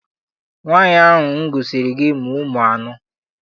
Nwaanyi ahụ m gosiri gị mụrụ ụmụ anọ.